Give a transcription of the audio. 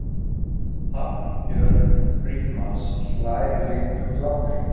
Hallbjörg Frímanns hlær léttum hlátri.